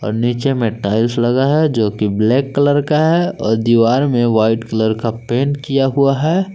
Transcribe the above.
अ नीचे मे टाइल्स लगा है जो की ब्लैक कलर का है और दीवार में व्हाइट कलर का पेंट किया हुआ है।